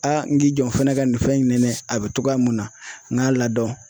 Aa n k'i jɔ n fɛnɛ ka nin fɛn in nɛnɛ ,a be togoya mun na n k'a ladɔn